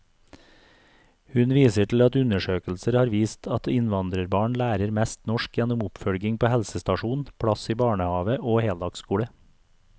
Hun viser til at undersøkelser har vist at innvandrerbarn lærer mest norsk gjennom oppfølging på helsestasjon, plass i barnehave og heldagsskole.